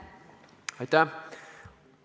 Aitäh!